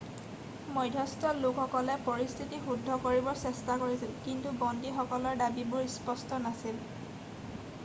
মধ্যস্থ লোকসকলে পৰিস্থিতি শুদ্ধ কৰিবৰ চেষ্টা কৰিছিল কিন্তু বন্দীসকলৰ দাবীবোৰ স্পষ্ট নাছিল